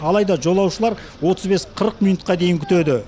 алайда жолаушылар отыз бес қырық минутқа дейін күтеді